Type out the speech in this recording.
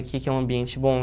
Aqui que é um ambiente bom.